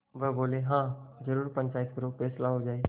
वह बोलेहाँ जरूर पंचायत करो फैसला हो जाय